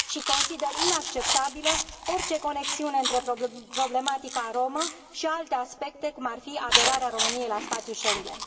Și consider inacceptabilă orice conexiune între problematica romă și alte aspecte, cum ar fi aderarea României la spațiul Schengen.